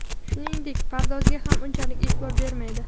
Shuningdek, pardozga ham unchalik e’tibor bermaydi.